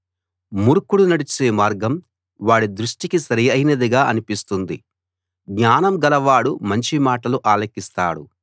మూర్ఖుడు నడిచే మార్గం వాడి దృష్టికి సరియైనదిగా అనిపిస్తుంది జ్ఞానం గలవాడు మంచి మాటలు ఆలకిస్తాడు